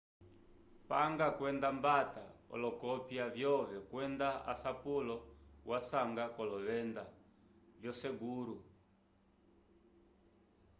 panga kwenda ambata olokopya vyove kwenda asapulo wasanga k'olovenda vyoseguru